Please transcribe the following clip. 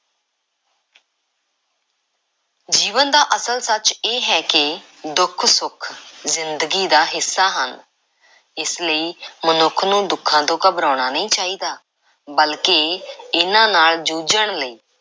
ਜੀਵਨ ਦਾ ਅਸਲ ਸੱਚ ਇਹ ਹੈ ਕਿ ਦੁੱਖ, ਸੁੱਖ ਜ਼ਿੰਦਗੀ ਦਾ ਹਿੱਸਾ ਹਨ। ਇਸ ਲਈ ਮਨੁੱਖ ਨੂੰ ਦੁੱਖਾਂ ਤੋਂ ਘਬਰਾਉਣਾ ਨਹੀਂ ਚਾਹੀਦਾ ਬਲਕਿ ਇਹਨਾਂ ਨਾਲ਼ ਜੂਝਣ ਲਈ